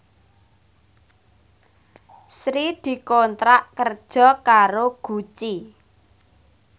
Sri dikontrak kerja karo Gucci